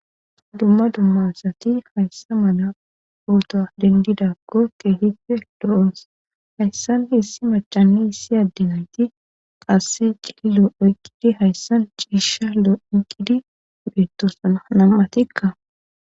dumma dumma asati hayssa mala pota dendidakko kehipe loo'os hayssan issi macani issi adde nayti qasse cillo oyqqidi hayssan ciisha lo,'in oyiqidi beettosana nam'atikka